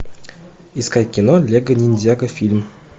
искать кино лего ниндзяго фильм